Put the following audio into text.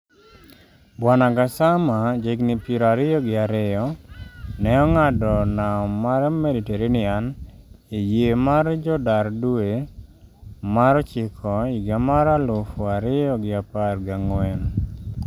Bw Gassama jahigni piero ariyo gi ariyo, ne ong'ado nam mar Mediterranean e yie mar jodar dwe mar ochiko higa mar aluf ariyo gi apar ga ng'wen